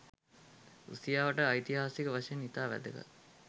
රුසියාවට ඓතිහාසික වශයෙන් ඉතා වැදගත්